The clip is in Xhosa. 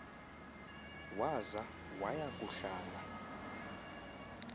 waza waya kuhlala